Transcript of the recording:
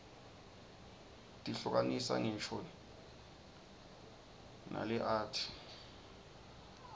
tihluka nisa nqisho narerqati